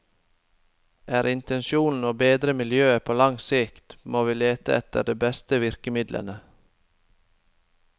Er intensjonen å bedre miljøet på lang sikt, må vi lete etter de beste virkemidlene.